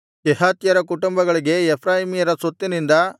ಕೆಹಾತ್ಯರ ಕುಟುಂಬಗಳಿಗೆ ಎಫ್ರಾಯೀಮ್ಯರ ಸ್ವತ್ತಿನಿಂದ